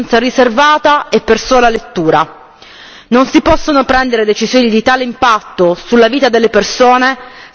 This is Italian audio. Non si possono prendere decisioni di tale impatto sulla vita delle persone senza che vi sia informazione e consenso.